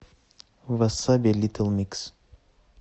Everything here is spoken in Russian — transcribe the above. васаби литл микс